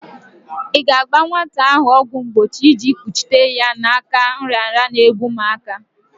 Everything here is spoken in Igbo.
I ga-aga gba nwata ahụ ọgwọ mgbochi iji kpuchite ya n'aka nrịanrịa n'egbu umuaka.